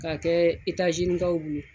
K'a kɛ kaw bolo